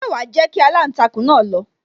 Ṣé wa jẹ́ kí aláǹtakùn náà lọ